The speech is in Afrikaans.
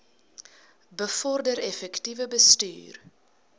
bevorder effektiewe bestuur